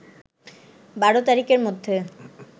১২ তারিখের মধ্যে